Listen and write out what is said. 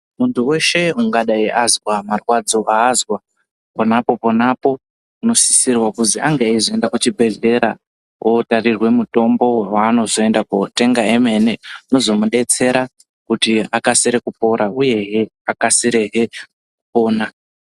Muntu weshe ungadai azwa marwadzo aazwa ponapo-ponapo, unosisirwa kuti ange eizoenda kuchibhedhlera kotarirwe mutombo waanozoende kotenga emene, unozomudetsera kuti akasire kupora uyehe akasirehe kupona.